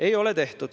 Ei ole seda tehtud.